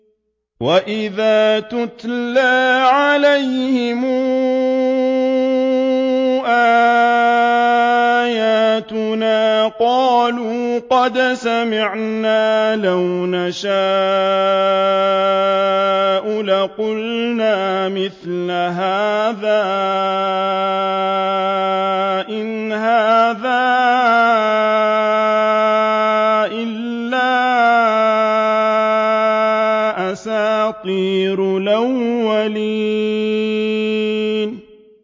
وَإِذَا تُتْلَىٰ عَلَيْهِمْ آيَاتُنَا قَالُوا قَدْ سَمِعْنَا لَوْ نَشَاءُ لَقُلْنَا مِثْلَ هَٰذَا ۙ إِنْ هَٰذَا إِلَّا أَسَاطِيرُ الْأَوَّلِينَ